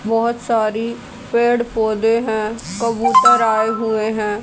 बहुत सारी पेड़ पौधे हैं कबूतर आए हुए हैं।